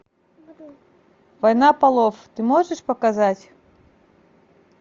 война полов ты можешь показать